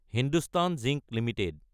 Hindustan Zinc Ltd